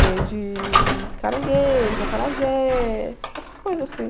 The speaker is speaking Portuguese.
Vende caranguejo, acarajé, essas coisas assim.